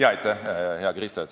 Aitäh, hea Krista!